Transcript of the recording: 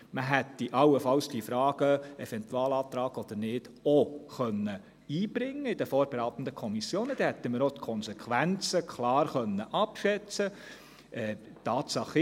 Man hätte allenfalls die Frage «Eventualantrag oder nicht» auch einbringen können, dann hätten wir auch die Konsequenzen klar abschätzen können.